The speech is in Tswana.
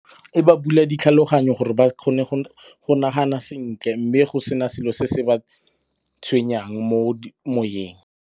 E ba bula ditlhaloganyo gore ba kgone go nagana sentle mme go sena selo se se ba tshwenyang mo moyeng.